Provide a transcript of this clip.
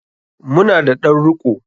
Mu na da ɗan riko.